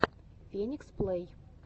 феникс плэй